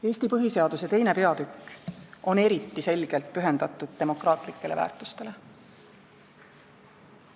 Eesti põhiseaduse II. peatükk on eriti selgelt pühendatud demokraatlikele väärtustele.